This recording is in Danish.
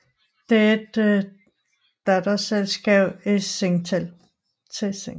Det er et datterselskab til Singtel